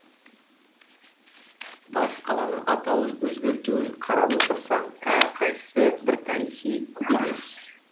бас қаланың атауын өзгертуін қарап отырсаң әрқайсысы бір тарихи белес